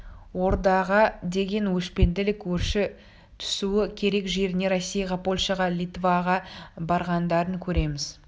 ордаға деген өшпенділік өрши түсуі керек жеріне россияға польша литваға барғандарын көреміз